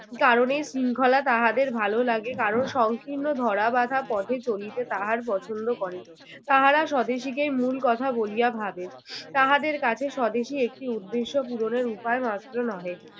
কারণ এই শৃঙ্খলা তাহাদের ভালো লাগে। কারো সংকীর্ণ ধরা বাঁধা পথে চলিতে তাহার পছন্দ করে। তাহারা স্বদেশীকেই মূল কথা বলিয়া ভাবে, তাহাদের কাছে স্বদেশী একটি উদ্দেশ্য পূরণের উপায় মাত্র নহে।